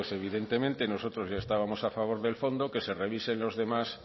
evidentemente nosotros ya estábamos a favor del fondo que se revisen los demás